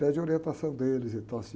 Pede orientação deles e tal, assim.